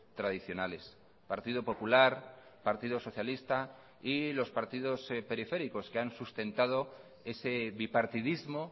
tradicionales partido popular partido socialista y los partidos periféricos que han sustentado ese bipartidismo